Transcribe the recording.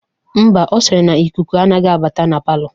Ḿbà, Ọ sịrị na ikuku anaghị abata na palọ